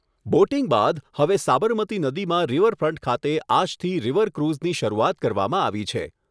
Boating બાદ હવે સાબરમતિ નદીમાં રિવરફ્રન્ટ ખાતે આજથી રિવરક્રુઝની શરૂઆત કરવામાં આવી છે.